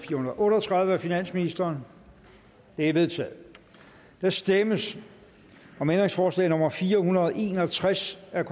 otte og tredive af finansministeren det er vedtaget der stemmes om ændringsforslag nummer fire hundrede og en og tres af